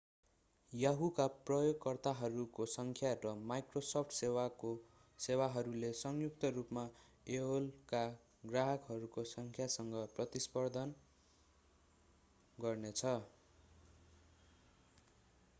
yahoo का प्रयोगकर्ताहरूको संख्या र microsoft सेवाहरूले संयुक्त रूपमा एओएलका ग्राहकहरूको संख्यासँग प्रतिस्पर्धा गर्नेछ